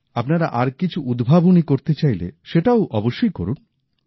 আপনারা আর কিছু উদ্ভাবনী করতে চাইলে সেটাও অবশ্যই করুন